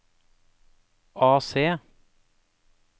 AC